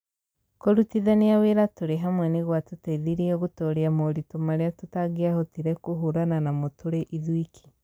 Kũrutithania wĩra tũrĩ hamwe nĩ gwatũteithirie gũtooria moritũ marĩa tũtangĩahotire kũhũrana namo tũrĩ ithuiki.